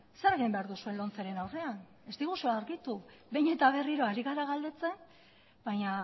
zer egin behar duzuen lomceren aurrean behin eta berriro ari gara galdetzen baina